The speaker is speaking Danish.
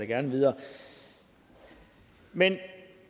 gerne videre men